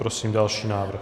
Prosím další návrh.